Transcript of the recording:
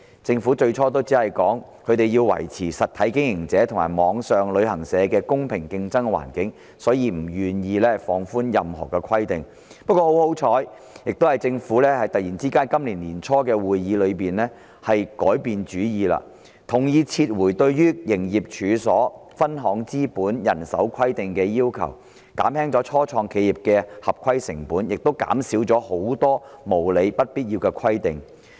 政府最初只表示要維持實體經營者及網上旅行社的公平競爭環境，所以不願意放寬任何規定；幸而政府突然在今年年初的會議上改變主意，同意撤回對"營業處所"、"分行資本"及"人手規定"的要求，減輕了初創企業的合規成本，亦減少了很多無理及不必要的規定。